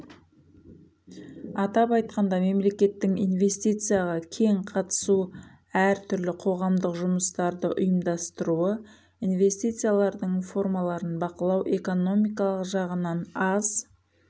атап айтқанда мемлекеттің инвестицияға кең қатысу әртүрлі қоғамдық жұмыстарды ұйымдастыруы инвестициялардың формаларын бақылау экономикалық жағынан аз